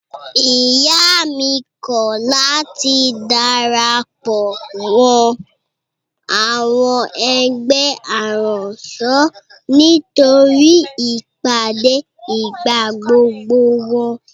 Ìyá mi kọ̀ láti darapọ̀ mọ́ àwọn ẹgbẹ́ aránṣọ nítorí ìpàdé ìgbàgbogbo wọn.